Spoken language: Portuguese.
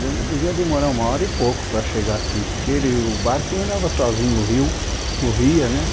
De, devia demorar uma hora e pouco para chegar aqui, porque ele, o barco andava sozinho, o rio corria, né?